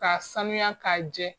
K'a sanuya, k'a jɛ.